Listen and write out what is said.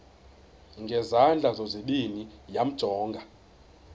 ngezandla zozibini yamjonga